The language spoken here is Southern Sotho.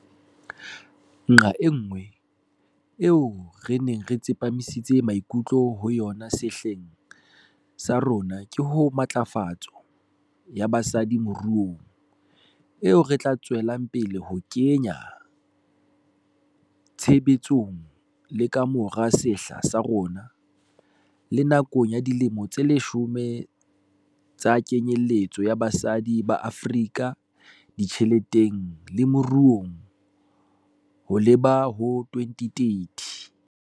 Nqa enngwe eo re neng re tsepamisitse maikutlo ho yona sehleng sa rona ke ho matlafatso ya basadi moruong, eo re tla tswela pele ho e kenya tshebetsong le ka mora sehla sa rona le nakong ya Dilemo tse Leshome tsa Kenyeletso ya Basadi ba Afrika Ditjheleteng le Moruong ho leba ho 2030.